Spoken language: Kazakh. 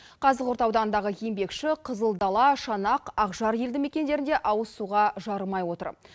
қазығұрт ауданындағы еңбекші қызылдала шанақ ақжар елді мекендері ауызсуға жарымай отыр